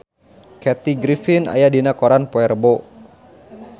Kathy Griffin aya dina koran poe Rebo